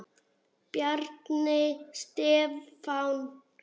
Bjarni Stefán.